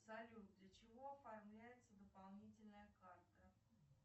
салют для чего оформляется дополнительная карта